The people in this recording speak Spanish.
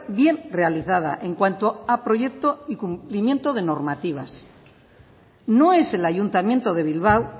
bien realizada en cuanto a proyecto y cumplimiento de normativas no es el ayuntamiento de bilbao